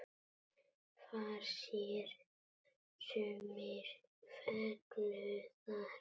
Far sér sumir fengu þar.